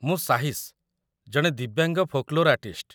ମୁଁ ସାହିଶ, ଜଣେ ଦିବ୍ୟାଙ୍ଗ ଫୋକ୍‌ଲୋର୍‌ ଆର୍ଟିଷ୍ଟ୍ ।